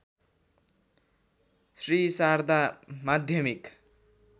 श्री शारदा माध्यमिक